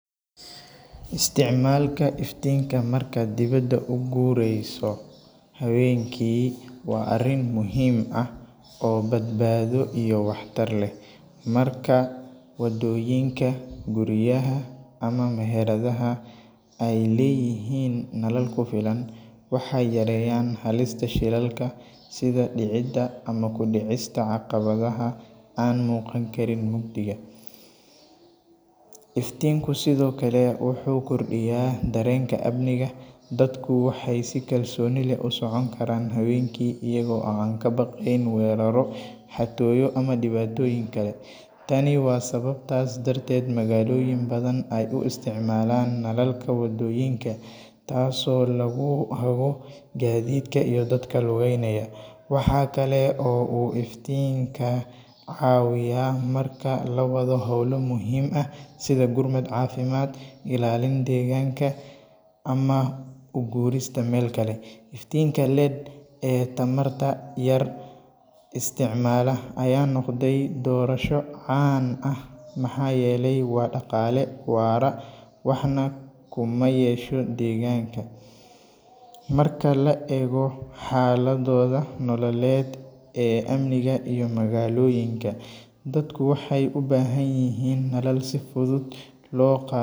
Isticmaalka iftiinka marka dibadda u guureyso haweenkii waa arrin muhiim ah oo badbaado iyo waxtar leh markaa wadooyinka guryaha ama meheradaha ay leeyihiin nal ku filan waxay yareeyaan halista shilalka sida dhicidda ama ku dhicista caqabadaha aan muuqan Karin mugdiga. Iftiinku sidoo kale wuxuu kordhiyaa dareenka amniga dadku waxay si kalsooni leh u socon karaan habeenkii iyagoo aan ka baqayn weeraro xatooyo ama dhibaatooyin kale tani waa sababtaas darteed magaalooyin badan ay u isticmaalaan nalalka waddooyinka taasoo lagu hago gaadiidka iyo dadka lugeynaya waxaa kale oo uu iftiinka caawiyaa marka lawada howlo muhiim ah sida gurmad caafimaad. Ilaalin degaanka ama u guurista meel kale iftiinka ledh ee tamarta yar isticmaala ayaa noqday doorasho caan ah maxa yele wa dhaqaale waara waax neh kumayesho deegaanka, maarka laa ego waxa ladoda nololet ee amniga iyo magaloyinka dadku waxaay ubahan yihiin nolol si fudud loqa.